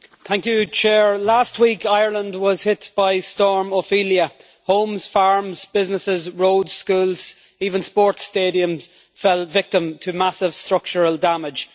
Mr President, last week Ireland was hit by Storm Ophelia. Homes, farms, businesses roads, schools even sports stadiums fell victim to massive structural damage.